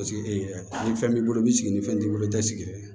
Paseke ni fɛn b'i bolo i b'i sigi ni fɛn t'i bolo i tɛ sigi